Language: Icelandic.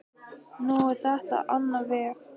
Nú fór þetta á annan veg.